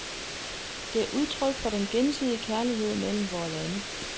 Det er udtryk for den gensidige kærlighed mellem vore lande.